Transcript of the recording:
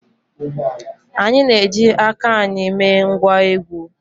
Anyị na-eji aka anyị mee ngwá egwú